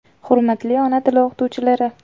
Hurmatli ona tili o‘qituvchilari!